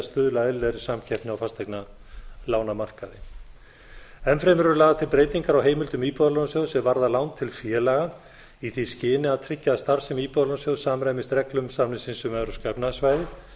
stuðla að eðlilegri samkeppni á fasteignalánamarkaði enn fremur eru lagðar til breytingar á heimildum íbúðalánasjóðs er varða lán til félaga í því skyni að tryggja að starfsemi íbúðalánasjóðs samræmist reglum samningsins um evrópska efnahagssvæðið